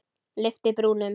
Lyfti brúnum.